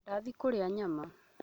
Ndathiĩ kũria nyama